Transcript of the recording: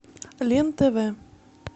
лен тв